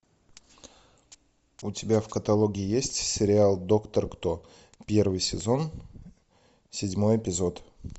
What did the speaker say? у тебя в каталоге есть сериал доктор кто первый сезон седьмой эпизод